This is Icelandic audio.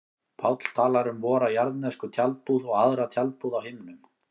Páll talar um vora jarðnesku tjaldbúð og aðra tjaldbúð á himnum.